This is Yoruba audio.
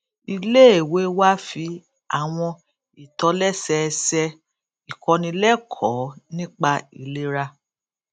iléèwé wa fi àwọn ìtòlẹsẹẹsẹ ìkónilẹkọọ nípa ìlera